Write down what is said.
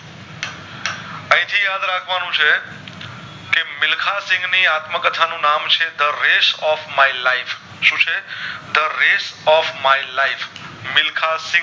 યાદ રાખવાનું છે કે મિલ્ખા સિંહ ની આત્મકથા નું નામ છે the resh of my life શું છે the rash of my life Milkha Singh